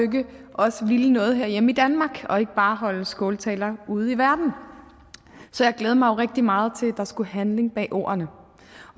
også ville noget herhjemme i danmark og ikke bare holde skåltaler ude i verden så jeg glædede mig rigtig meget til at der skulle handling bag ordene